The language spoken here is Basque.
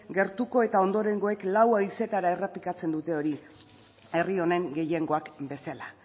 gertukoen eta ondorengoek lau haizeetara errepikatzen dute hori herri honen gehiengoak bezala